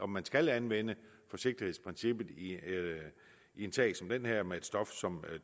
man skal anvende forsigtighedsprincippet i en sag som den her med et stof som